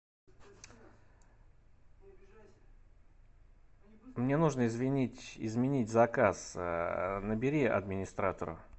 мне нужно извинить изменить заказ набери администратора